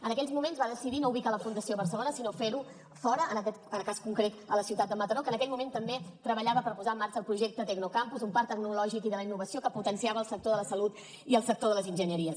en aquells moments va decidir no ubicar la fundació a barcelona sinó fer ho fora en aquest cas concret a la ciutat de mataró que en aquell moment també treballava per posar en marxa el projecte tecnocampus un parc tecnològic i de la innovació que potenciava el sector de la salut i el sector de les enginyeries